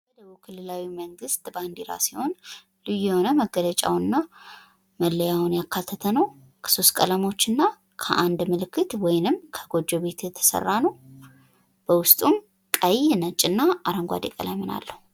የደቡብ ክልላዊ መንግስት ባንዲራ ሲሆን ፤ ልዩ የሆነ መገለጫውንና መለያውን የያዘ ነው። ይኸውም ከሶስት ቀለሞችና አንድ መለያ ወይም ጎጆ ቤት የተሰራ ሲሆን፤ ቀለሞቹም ሰማያዊ፣ ነጭ እና ቀይ ናቸው።